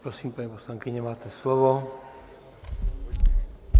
Prosím, paní poslankyně, máte slovo.